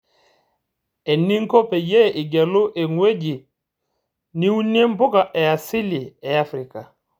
Eningo peyie igelu engueji niunie mpuka easili eafrika.